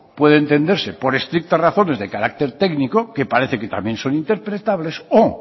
puede entenderse por estrictas razones de carácter técnico que parece que también son interpretables o